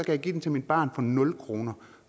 jeg give den til mit barn for nul kr